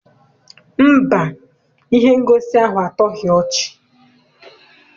Mba, ihe ngosi ahụ atọghi ọchị.